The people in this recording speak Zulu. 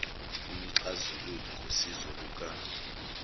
umxazululi ngosizo luka